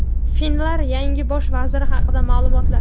Finlar yangi bosh vaziri haqida ma’lumotlar .